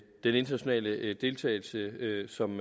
den internationale deltagelse som